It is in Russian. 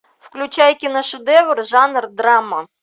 включай киношедевр жанр драма